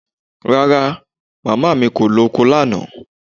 Rara, màmá mi kò lọ oko lánàá